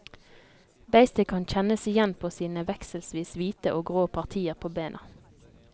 Beistet kan kjennes igjen ved sine vekselvis hvite og grå partier på bena.